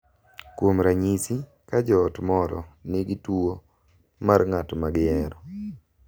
Kuom ranyisi, ka joot moro nigi tuwo mar ng’at ma gihero, .